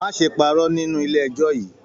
Má ṣe pàrọ́ nínú ilé ẹjọ yìí!